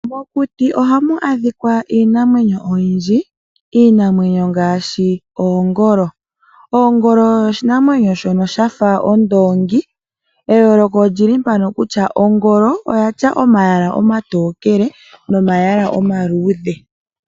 Mokuti ohamu adhika iinamwenyo oyindji ,iinamwenyo ngaashi oongolo. Oongolo oshinamwenyo shono shafa ondoongi eyooloko olili mpano kutya ongolo oyina omayala omatokele nomayala omaluudhe.